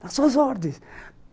Nas suas ordens.